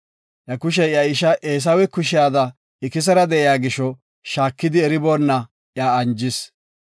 Iya kushey iya isha Eesawe kushiyada ikisera de7iya gisho, shaakidi eriboona iya anjis.